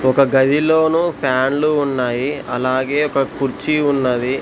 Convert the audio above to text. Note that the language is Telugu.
ఒక గదిలోను ఫ్యాన్లు ఉన్నాయి అలాగే ఒక కుర్చీ ఉన్నది.